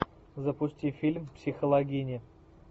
запусти фильм психологини